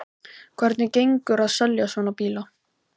Hvernig gengur að selja svona bíla?